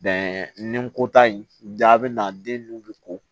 nin ko ta in jaabi na den nu bɛ ko